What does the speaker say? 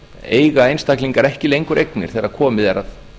eiga einstaklingar ekki lengur eignir þegar komið er að